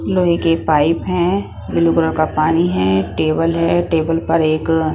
लोहे के पाइप हैं ब्लू कलर का पानी हैं टेबल हैं टेबल पर एक --